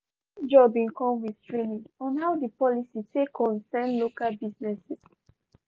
her new job bin come with training on how di policy take concern local businesses.